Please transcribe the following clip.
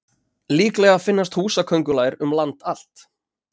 Líklega finnast húsaköngulær um land allt.